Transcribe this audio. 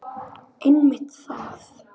Einmitt það.